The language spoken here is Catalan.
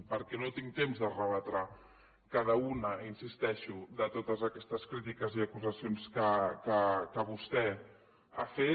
perquè no tinc temps de rebatre cada una hi insisteixo de totes aquestes crítiques i acusacions que vostè ha fet